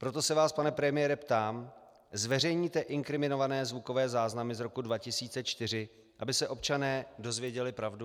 Proto se vás, pane premiére, ptám: Zveřejníte inkriminované zvukové záznamy z roku 2004, aby se občané dozvěděli pravdu?